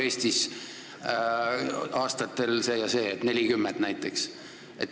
Eelkäija ju rääkis mustade vägivallast valgete vastu.